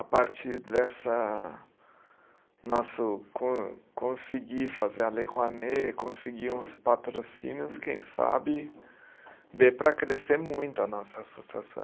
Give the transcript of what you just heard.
A partir dessa nosso con conseguir fazer a Lei Rouanet, conseguir uns patrocínios, quem sabe dê para crescer muito a nossa associação.